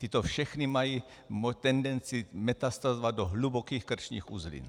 Tyto všechny mají tendenci metastázovat do hlubokých krčních uzlin.